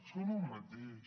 són el mateix